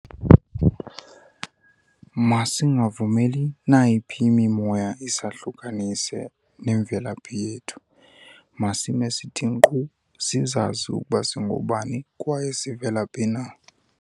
Masingavumeli nayiphi imimoya isahlukanise nemvelaphi yethu. Masime sithi nkqo sizazi ukuba singoobani kwaye sivelaphi na.